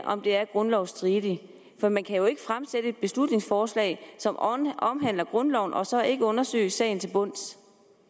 om det er grundlovsstridigt for man kan jo ikke fremsætte et beslutningsforslag som omhandler grundloven og så ikke undersøge sagen til bunds